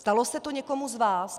Stalo se to někomu z vás?